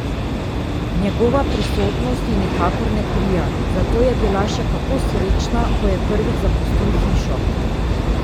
Njegova prisotnost ji nikakor ne prija, zato je bila še kako srečna, ko je prvič zapustil hišo.